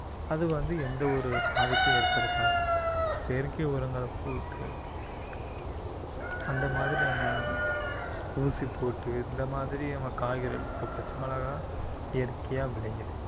அது வந்து எந்த ஒரு பாதிப்பையும் ஏற்படுத்தாது செயற்கை உரங்களை போட்டு அந்த மாதிரி நம்ம ஊசி போட்டு இந்த மாதிரி நம்ம காய்கறிகள் இப்போ பச்சை மிளகாய் இயற்கையா விளையுது